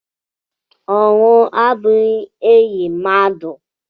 Ọnwụ abụghị enyi mmadụ.